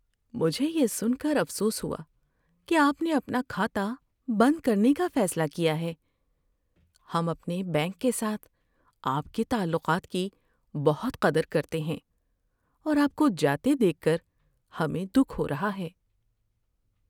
مجھے یہ سن کر افسوس ہوا کہ آپ نے اپنا کھاتہ بند کرنے کا فیصلہ کیا ہے۔ ہم اپنے بینک کے ساتھ آپ کے تعلقات کی بہت قدر کرتے ہیں، اور آپ کو جاتے دیکھ کر ہمیں دکھ ہو رہا ہے۔